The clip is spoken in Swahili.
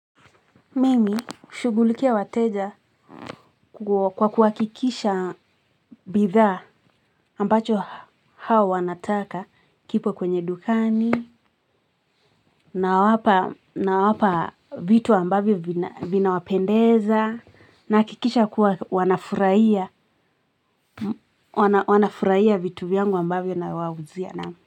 Mimi hushughulikia wateja kwa kuhakikisha bidhaa ambacho hao wanataka kipo kwenye dukani nawapa vitu ambavyo vinawapendeza na hakikisha kuwa wanafurahia wanafurahia vitu vyangu ambavyo nawauzia naam.